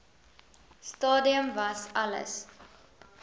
stadium was alles